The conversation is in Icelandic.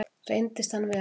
Reyndist hann vera